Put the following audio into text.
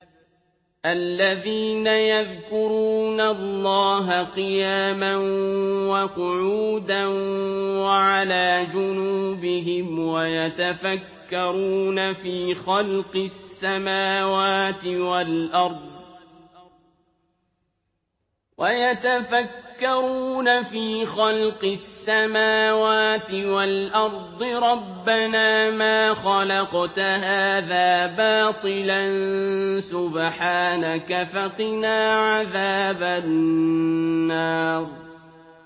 الَّذِينَ يَذْكُرُونَ اللَّهَ قِيَامًا وَقُعُودًا وَعَلَىٰ جُنُوبِهِمْ وَيَتَفَكَّرُونَ فِي خَلْقِ السَّمَاوَاتِ وَالْأَرْضِ رَبَّنَا مَا خَلَقْتَ هَٰذَا بَاطِلًا سُبْحَانَكَ فَقِنَا عَذَابَ النَّارِ